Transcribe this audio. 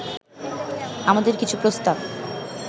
আমাদের কিছু প্রস্তাব